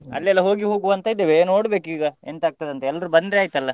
ಅಲ್ಲೆಲ್ಲಾ ಹೋಗಿ ಹೋಗುವಾ ಅಂತ ಇದ್ದೇವೆ ನೋಡ್ಬೇಕು ಈಗ ಎಂತ ಆಗ್ತದಂತ ಎಲ್ರೂ ಬಂದ್ರೆ ಆಯಿತಲ್ಲ.